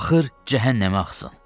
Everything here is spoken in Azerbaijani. Axır cəhənnəmə axsın.